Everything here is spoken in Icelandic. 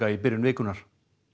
í byrjun vikunnar